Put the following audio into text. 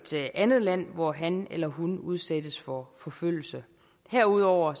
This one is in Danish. andet land hvor han eller hun udsættes for forfølgelse herudover har